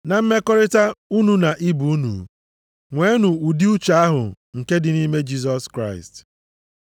Na mmekọrịta unu na ibe unu, nweenụ ụdị uche ahụ nke dị nʼime Jisọs Kraịst: